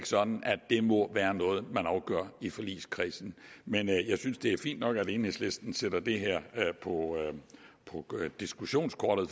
sådan at det må være noget man afgør i forligskredsen men jeg synes det er fint nok at enhedslisten sætter det her på diskussionskortet